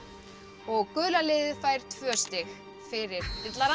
og gula liðið fær tvö stig fyrir